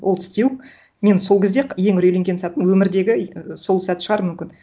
ол тістеуік мен сол кезде ең үрейленген сәтім өмірдегі сол сәт шығар мүмкін